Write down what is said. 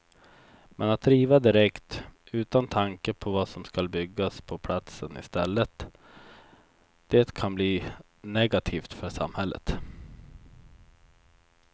Men att riva direkt, utan tanke på vad som skall byggas på platsen i stället, det kan bli negativt för samhället.